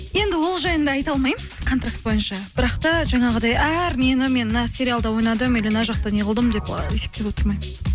енді ол жайында айта алмаймын контракт бойынша бірақ та жаңағыдай әр нені мен мына сериалда ойнадым или мына жақта неғылдым деп есептеп отырмаймын